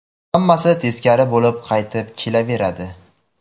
Hammasi teskari bo‘lib qaytib kelaveradi.